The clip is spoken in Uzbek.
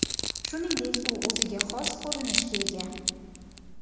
Shuningdek, u o‘ziga xos ko‘rinishga ega.